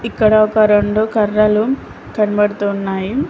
ఇక్కడ ఒక రొండు కర్రలు కనబడుతున్నాయి.